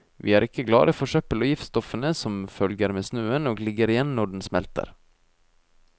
Vi er ikke glade for søppelet og giftstoffene som følger med snøen og ligger igjen når den smelter.